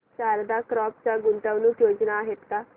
Sharda Crop च्या गुंतवणूक योजना आहेत का